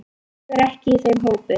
Ég er ekki í þeim hópi.